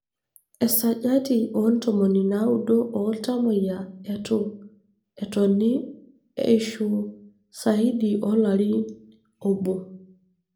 Esajati oontomoni naudo oltamoyia etu etoni eishu saidi olari obo.